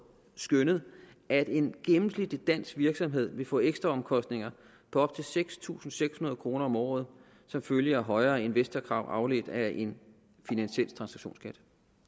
skønnet at en gennemsnitlig dansk virksomhed vil få ekstra omkostninger på op til seks tusind seks hundrede kroner om året som følge af højere investorkrav afledt af en finansiel transaktions skat